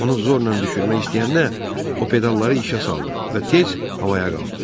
Onu zorla düşürmək istəyəndə, o pedalları işə saldı və tez havaya qalxdı.